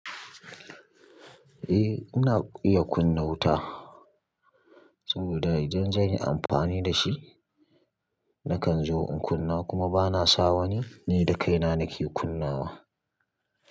Eh, ina iya kunna wuta saboda idan zan yi amfani dashi nakan zo in kunna kuma bana sa wani, ni da kaina nake kunnawa.